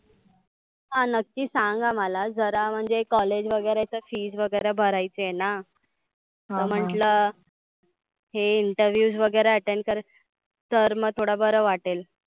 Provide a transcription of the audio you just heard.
हा नक्की सांंग अं मला जरा म्हणजे collage वगैरेच fees वगैरे भरायची आहेना. तर म्हटलं हे interviews वगैरे attend कर तर मग थोड बर वाटेल.